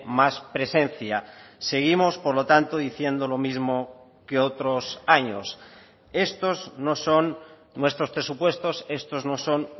más presencia seguimos por lo tanto diciendo lo mismo que otros años estos no son nuestros presupuestos estos no son